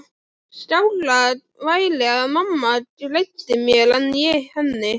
Skárra væri að mamma greiddi mér en ég henni.